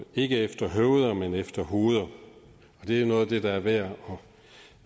ikke efter høveder men efter hoveder det er noget af det der er værd